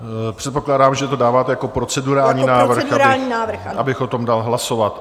Předpokládám, že to dáváte jako procedurální návrh, abych o tom dal hlasovat.